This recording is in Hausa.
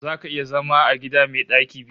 Zaka iya zama a gida mai ɗaki biyu?